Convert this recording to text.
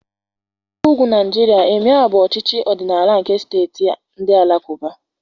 N'ebe ugwu Nigeria, Emịee bụ ọchịchị ọdịnala nke steeti ndị Alakụba.